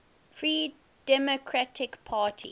free democratic party